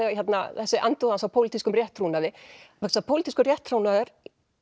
þessi andúð hans á pólitískum rétttrúnaði vegna þess að pólitískur rétttrúnaður